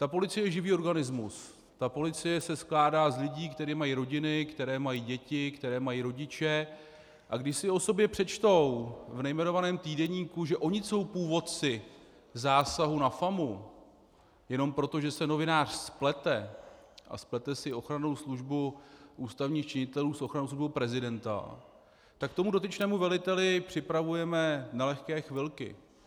Ta policie je živý organismus, ta policie se skládá z lidí, kteří mají rodiny, kteří mají děti, kteří mají rodiče, a když si o sobě přečtou v nejmenovaném týdeníku, že oni jsou původci zásahu na FAMU, jenom proto, že se novinář splete a splete si Ochrannou službu ústavních činitelů s Ochrannou službou prezidenta, tak tomu dotyčnému veliteli připravujeme nelehké chvilky.